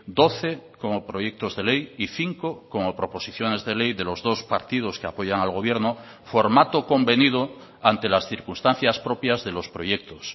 doce como proyectos de ley y cinco como proposiciones de ley de los dos partidos que apoyan al gobierno formato convenido ante las circunstancias propias de los proyectos